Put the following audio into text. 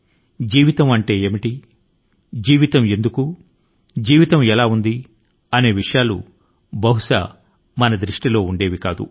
జీవితం అంటే ఏమిటి జీవితం ఎందుకు ఉంది మన జీవనం ఎలా ఉంది వంటి విషయాలు బహుశా ఇవి గుర్తు కు వచ్చేవే కాదు